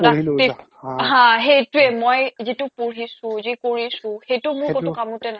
হা সেইটোৱে মই যিটো পঢ়িছো যি কৰিছো সিটো মোৰ ক'তো কামতে না